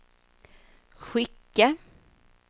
skicka